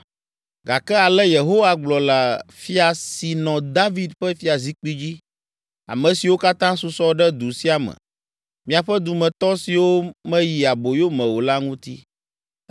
Gake ale Yehowa gblɔ le fia si nɔ David ƒe fiazikpui dzi, ame siwo katã susɔ ɖe du sia me, miaƒe dumetɔ siwo meyi aboyo me o la ŋuti,